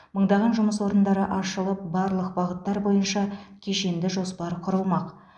мыңдаған жұмыс орындары ашылып барлық бағыттар бойынша кешенді жоспар құрылмақ